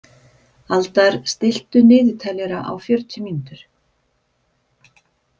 Aldar, stilltu niðurteljara á fjörutíu mínútur.